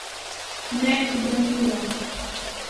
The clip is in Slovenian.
Neubranljivo!